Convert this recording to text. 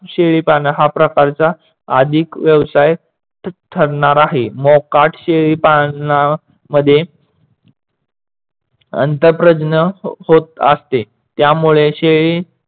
शेळी पालन हा प्रकारचा अधिक व्यवसाय ठरणार आहे. मोकाट शेळी पाळनामध्ये अंतप्रज्ञ होत असते, त्यामुळे